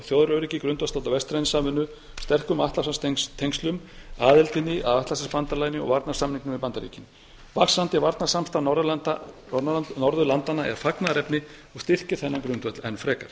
þjóðaröryggi grundvallast á vestrænni samvinnu sterkum atlantshafstengslum aðildinni að atlantshafsbandalaginu og aðildinni að atlantshafsbandalaginu og varnarsamningnum við bandaríkin vaxandi varnarsamstarf norðurlandanna er fagnaðarefni og styrkir þennan grundvöll enn frekar